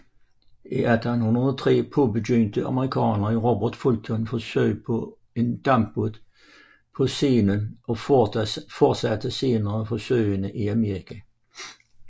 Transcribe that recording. I 1803 påbegyndte amerikaneren Robert Fulton forsøg med en dampbåd på Seinen og fortsatte senere forsøgene i Amerika